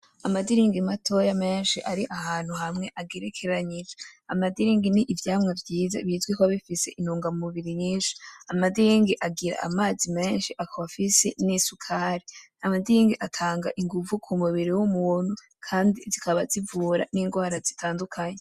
Amadiringi matoya menshi ari ahantu hamwe agerekeranije. Amadiringi ni Ivyamwa vyiza bizwi ko bifise intungamubiri nyinshi. Amadiringi agira amazi menshi akaba afise nisukari. Amadiringi atanga ingumvu k’umubiri w'umuntu kandi zikaba zivura n'ingwara zitandukanye.